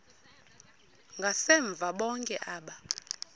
ngasemva bonke aba